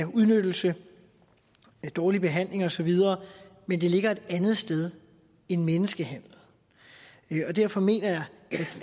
udnyttelse af dårlig behandling osv men det ligger et andet sted end menneskehandel og derfor mener jeg